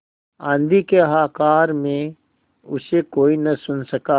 आँधी के हाहाकार में उसे कोई न सुन सका